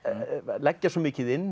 leggja svo mikið inn